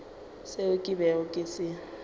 seo ke bego ke se